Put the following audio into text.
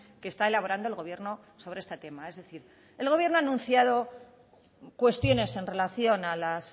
que está elaborando el gobierno sobre este tema es decir el gobierno ha anunciado cuestiones en relación a las